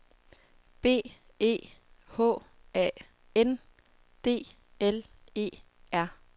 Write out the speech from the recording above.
B E H A N D L E R